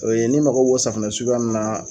O ye ni mako b'o safinɛ suguya ninnu na